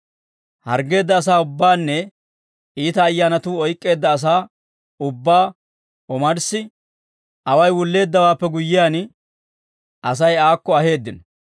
Harggeedda asaa ubbaanne iita ayyaanatuu oyk'k'eedda asaa ubbaa omarssi away wulleeddawaappe guyyiyaan, Asay aakko aheeddino.